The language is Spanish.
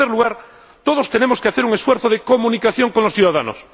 Y, en tercer lugar, todos tenemos que hacer un esfuerzo de comunicación con los ciudadanos.